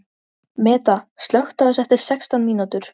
Meda, slökktu á þessu eftir sextán mínútur.